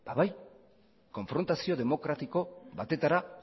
ba bai konfrontazio demokratiko batetara